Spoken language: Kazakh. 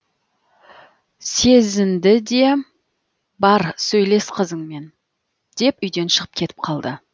сезінді де бар сөйлес қызыңмен деп үйден шығып кетіп қалды